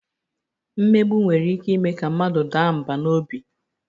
Mmegbu nwere ike ime ka mmadụ daa mbà n'obi